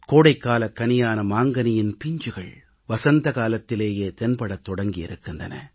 கோடைக்காலக் கனியான மாங்கனியின் பிஞ்சுகள் வசந்த காலத்திலேயே தென்படத் தொடங்கியிருக்கின்றன